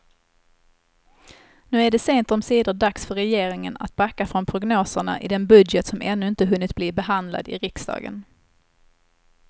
Nu är det sent omsider dags för regeringen att backa från prognoserna i den budget som ännu inte hunnit bli behandlad i riksdagen.